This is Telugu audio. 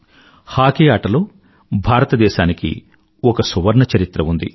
హాకీ ఆటలో భారతదేశానికి ఒక సువర్ణచరిత్ర ఉంది